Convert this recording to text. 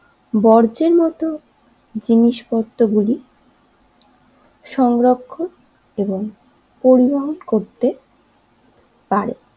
বর্জ্যের মতন জিনিসপত্র গুলি সংরক্ষণ এবং পরিবহন করতে পারে।